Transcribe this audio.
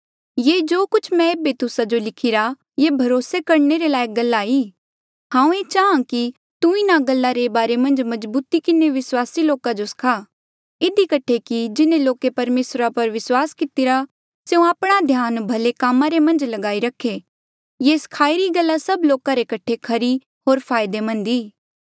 ये जो कुछ मैं ऐबे तुस्सा जो लिखिरा ये भरोसे करणे रे लायक गल्ला ई हांऊँ ये चाहां कि तू इन्हा गल्ला रे बारे मन्झ मजबूती किन्हें विस्वासी लोका जो सखा इधी कठे कि जिन्हें लोके परमेसरा पर विस्वास कितिरा स्यों आपणा ध्यान भले काम करणे रे मन्झ लगाई रखे ये सखाई री गल्ला सब लोका रे कठे खरी होर फायदेमंद ई